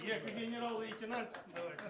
екі генерал лейтенант давайте